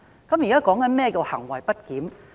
我現在解釋何謂行為不檢？